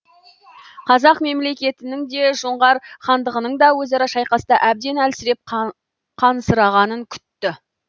қазақ мемлекетінің де жоңғар хандығының да өзара шайқаста әбден әлсіреп қансырағанын күтті